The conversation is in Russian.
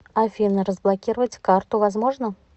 афина разблокировать карту возможно